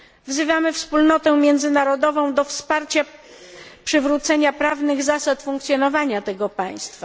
Wzywamy wspólnotę międzynarodową do wsparcia przywrócenia prawnych zasad funkcjonowania tego państwa!